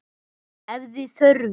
Ef þið þurfið.